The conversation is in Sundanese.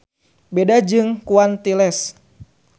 Beda jeung quantiles.